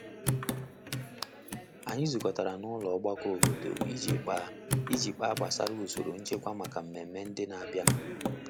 Anyị zukọtara na ụlọ ọgbakọ obodo iji kpa iji kpa gbasa usoro nchekwa maka mmemme ndị n'abịa nu.